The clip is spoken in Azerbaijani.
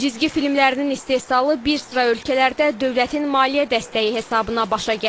Cizgi filmlərinin istehsalı bir sıra ölkələrdə dövlətin maliyyə dəstəyi hesabına başa gəlir.